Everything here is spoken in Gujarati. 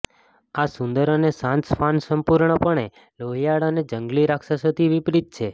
આ સુંદર અને શાંત શ્વાન સંપૂર્ણપણે લોહિયાળ અને જંગલી રાક્ષસોથી વિપરીત છે